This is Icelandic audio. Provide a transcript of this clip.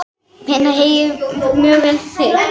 Mæna heyið mjög vel hygg.